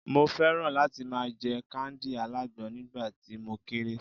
mo fẹràn láti ma je kándì alágbọn nígbà tí mo kere